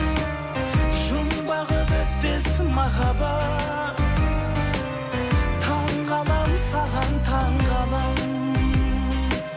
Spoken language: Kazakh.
жұмбағы бітпес махаббат таңғаламын саған таңғаламын